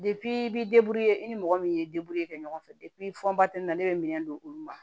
i bi i ni mɔgɔ min ye kɛ ɲɔgɔn fɛ ne bɛ minɛn don olu ma